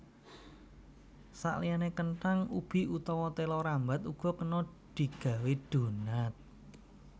Saliyané kenthang ubi utawa téla rambat uga kena digawé donat